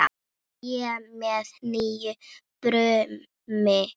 Tré með nýju brumi.